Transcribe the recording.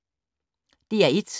DR1